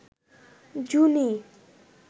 জুনি